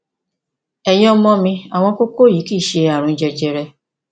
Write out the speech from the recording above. ẹyin ọmọ mi àwọn kókó yìí kì í ṣe ààrùn jẹjẹrẹ